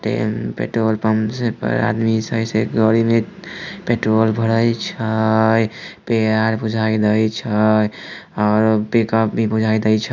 तेल petrol pump पर आदमी सब गाड़ी में पेट्रोल भरय छै और पिकअप भी बुझाय दे छै।